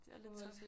Det er lidt tough